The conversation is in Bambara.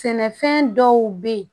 Sɛnɛfɛn dɔw be ye